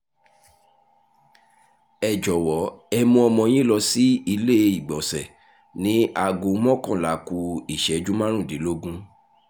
ẹ jọ̀wọ́ ẹ mú ọmọ yín lọ sí ilé-ìgbọ̀nsẹ̀ ní aago mọ́kànlá ku ìṣẹ́jú márùndínlógún